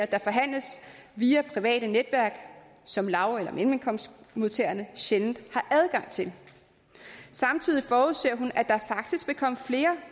der forhandles via private netværk som lav eller mellemkomstmodtagerne sjældent har adgang til samtidig forudser hun at der faktisk vil komme flere